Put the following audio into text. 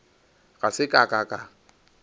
ga se ka ka ka